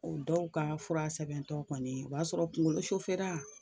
O dɔw ka fura sɛbɛntɔ kɔni o b'a sɔrɔ kungolo la.